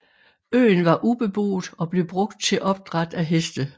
Øen var ubeboet og blev brugt til opdræt af heste